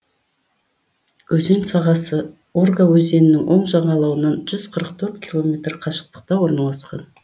өзен сағасы урга өзенінің оң жағалауынан жүз қырық төрт километр қашықтықта орналасқан